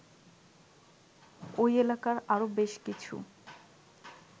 ওই এলাকার আরও বেশকিছু